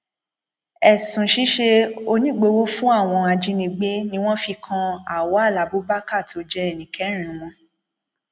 ẹsùn ṣíṣe onígbọwọ fún àwọn ajínigbé ni wọn fi kan awal abubakar tó jẹ ẹni kẹrin wọn